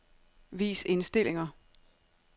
Vis indstillinger.